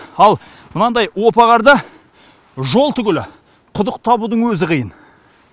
ал мынандай опа қарда жол түгілі құдық табудың өзі қиын